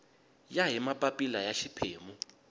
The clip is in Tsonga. ya hi mapapila ya xiphemu